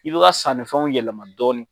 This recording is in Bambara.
I b'i ka sannifɛnw yɛlɛma dɔɔni.